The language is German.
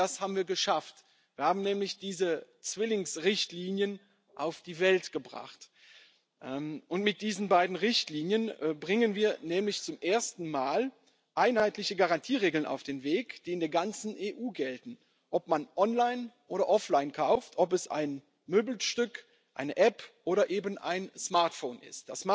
Genau das haben wir geschafft, wir haben nämlich diese Zwillingsrichtlinien auf die Welt gebracht. Mit diesen beiden Richtlinien bringen wir nämlich zum ersten Mal einheitliche Garantieregeln auf den Weg, die in der ganzen EU gelten, ob man online oder offline kauft, ob es ein Möbelstück, eine App oder eben ein Smartphone ist.